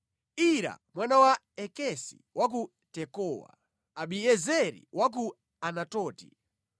Ira mwana wa Ikesi wa ku Tekowa, Abiezeri wa ku Anatoti,